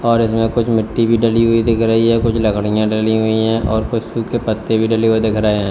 और इसमें कुछ मिट्टी भी डली हुई दिख रही है कुछ लकड़ियां डली हुई है और कुछ सूखे पत्ते भी डले हुए दिख रहे--